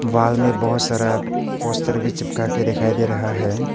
Wall में बहुत सारा पोस्टर भी चिपका के दिखाई दे रहा है।